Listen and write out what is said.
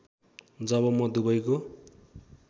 जब म दुबईको